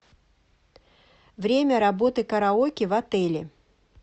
время работы караоке в отеле